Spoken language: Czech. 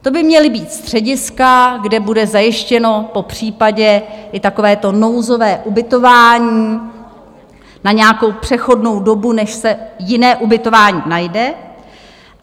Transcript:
To by měla být střediska, kde bude zajištěno popřípadě i takové to nouzové ubytování na nějakou přechodnou dobu, než se jiné ubytování najde.